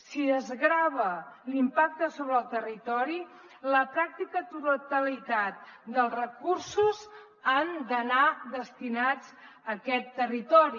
si desgrava l’impacte sobre el territori la pràctica totalitat dels recursos han d’anar destinats a aquest territori